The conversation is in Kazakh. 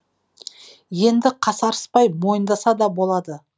енді қасарыспай мойындаса да болады